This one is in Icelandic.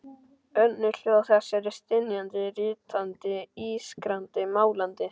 Önnur hljóð þess eru stynjandi, rýtandi, ískrandi, malandi.